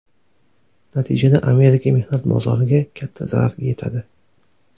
Natijada Amerika mehnat bozoriga katta zarar yetadi.